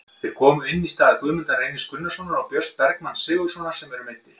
Þeir komu inn í stað Guðmundar Reynis Gunnarssonar og Björns Bergmanns Sigurðarsonar sem eru meiddir.